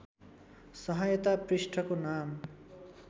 सहायता पृष्ठको नाम